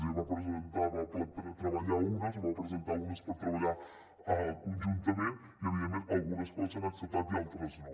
el psc en va presentar unes per treballar conjuntament i evidentment algunes coses s’han acceptat i altres no